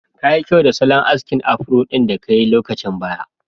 Kayi kyau da salon askin afro ɗin da kai lokacin baya.